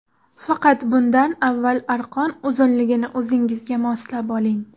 Faqat bundan avval arqon uzunligini o‘zingizga moslab oling.